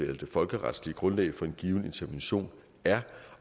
det folkeretlige grundlag for en given intervention er